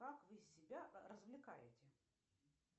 как вы себя развлекаете